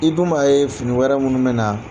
I dun b'a ye fini wɛrɛ minnu me na